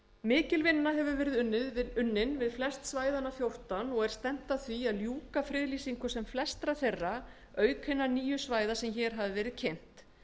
mikil vinna hefur verið unnin við flest svæðanna fjórtán og er stefnt að því ljúka friðlýsingu sem flestra þeirra auk hinna nýju svæða sem hér hafa verið kynnt